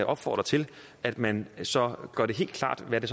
opfordre til at man så gør det helt klart hvad